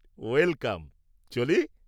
Welcome. চলি!